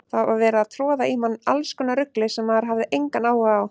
Það var verið að troða í mann allskonar rugli sem maður hafði engan áhuga á.